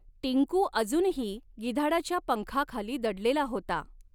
टिंकू अजुनही गिधाडाच्या पंखा खाली दडलेला हॊता.